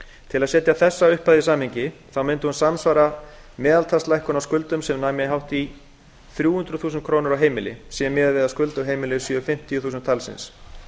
til að setja þessa upphæð í samhengi mundi hún samsvara meðaltalslækkun á skuldum sem næmi hátt í þrjú hundruð þúsund krónum á heimili sé miðað við að skuldug heimili séu fimmtíu þúsund talsins